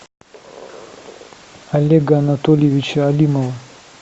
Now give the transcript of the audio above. олега анатольевича алимова